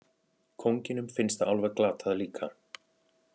Kónginum finnst það alveg glatað líka.